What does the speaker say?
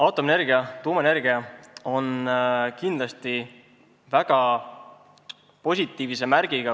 Aatomienergia, tuumaenergia on kindlasti väga positiivse märgiga.